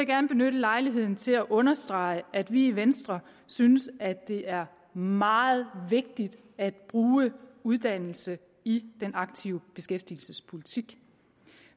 gerne benytte lejligheden til at understrege at vi i venstre synes at det er meget vigtigt at bruge uddannelse i den aktive beskæftigelsespolitik